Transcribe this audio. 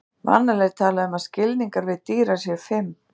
vanalega er talað um að skilningarvit dýra séu fimm